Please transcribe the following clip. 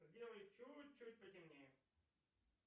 сделай чуть чуть потемнее